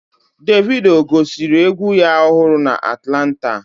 Davido gosiri egwu ya ọhụrụ a na Atlanta